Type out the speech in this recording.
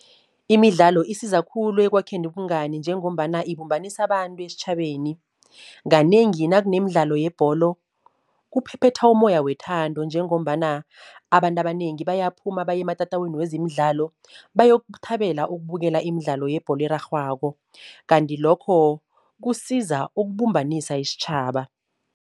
Imidlalo isiza khulu ekwakheni ubungani, njengombana ibumbanisa abantu esitjhabeni. Kanengi nakunemidlalo yebholo kuphephetha umoya wethando, njengombana abantu abanengi bayaphuma bayematatawini wezemidlalo, bayokuthabela ukubukela imidlalo yebholo erarhwako, kanti lokho kusiza ukubumbanisa isitjhaba.